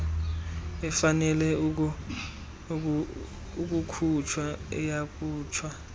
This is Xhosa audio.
efanele ukukhutshwa iyakhutshwa